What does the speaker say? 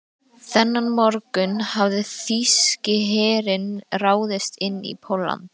Þennan morgunn hafði þýski herinn ráðist inn í Pólland.